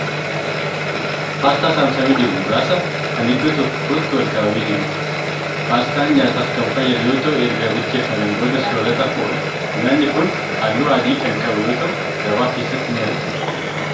Paastaa saamsamee jiru muraasa Kan iddoo tokko to wanirra kaa'amanii jiraniidha. paastaan nyaataaf Kan fayyadu yoo ta'u erga bilcheeffameen booda soorataaf oola. nyaanni Kuni halluu adii Kan qabu yoo ta'u gabaa keessatti ni gurgurama.